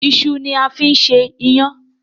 iṣu ni a fín ṣe iyan.